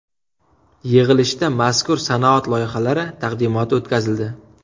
Yig‘ilishda mazkur sanoat loyihalari taqdimoti o‘tkazildi.